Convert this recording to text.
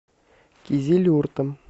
кизилюртом